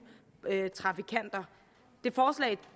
trafikanter